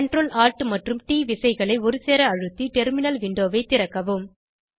Ctrl Alt மற்றும் ட் விசைகளை ஒருசேர அழுத்தி டெர்மினல் விண்டோவை திறக்கவும்